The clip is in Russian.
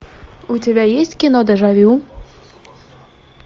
у тебя есть кино дежавю